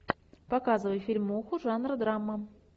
показывай фильмуху жанра драма